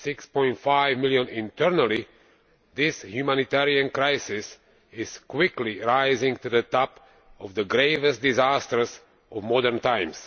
6.5 million internally, this humanitarian crisis is quickly rising to the top of the gravest disasters of modern times.